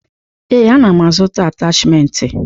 Ee, ana m azụta atachimentị.